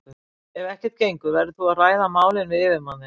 Ef ekkert gengur verður þú að ræða málin við yfirmann þinn.